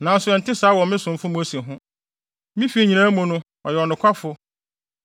Nanso ɛnte saa wɔ me somfo Mose ho. Me fi nyinaa mu no, ɔyɛ ɔnokwafo.